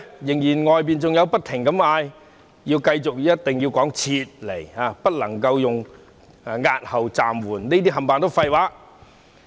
然而，外界仍一直要求政府要用"撤回"二字，不能用押後或暫緩，指這些用詞都是廢話。